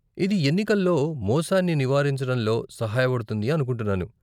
ఇది ఎన్నికల్లో మోసాన్ని నివారించటంలో సహాయపడుతుంది అనుకుంటున్నాను.